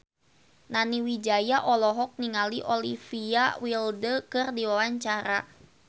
Nani Wijaya olohok ningali Olivia Wilde keur diwawancara